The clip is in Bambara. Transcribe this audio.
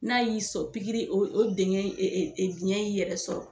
N'a y'i sɔrɔ pikiri o dengɛn in e e e biyɛn y' i yɛrɛ sɔrɔ